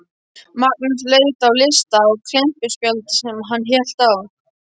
Magnús leit á lista á klemmuspjaldi sem hann hélt á.